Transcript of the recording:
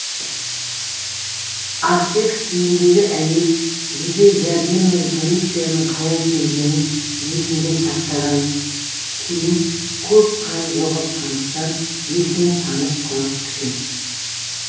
аффект күйіндегі әйел жедел жәрдем мен полицияның қалай келгенін есінде сақтаған кейін көп қан жоғалтқандықтан есінен танып құлап түскен